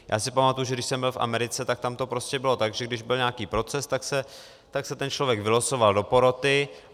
Já si pamatuji, že když jsem byl v Americe, tak tam to prostě bylo tak, když byl nějaký proces, tak se ten člověk vylosoval do poroty.